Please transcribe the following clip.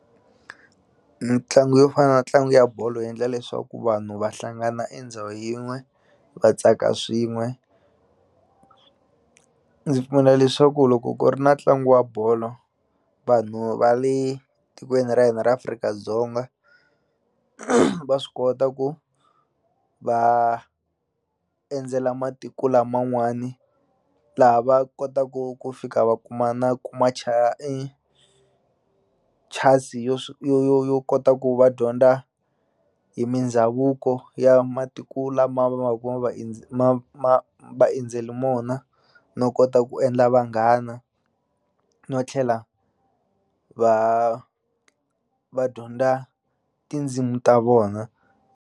Mitlangu yo fana na ntlangu ya bolo yi endla leswaku vanhu va hlangana endhawu yin'we va tsaka swin'we ndzi pfumela leswaku loko ku ri na ntlangu wa bolo vanhu va le tikweni ra hina ra Afrika-Dzonga va swi kota ku va endzela matiko laman'wani laha va kotaku ku fika va kuma na kuma chance yo yo yo kota ku va dyondza hi mindhavuko ya matiku lama ma ma vaendzeli mona no kota ku endla vanghana no tlhela va va dyondza tindzimu ta vona.